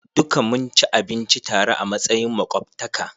Duka mun ci abinci tare a matsayin makwabtaka.